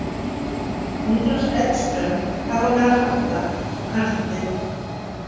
Niklas Edström þarf á mér að halda og kannski fleiri.